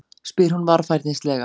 spyr hún varfærnislega.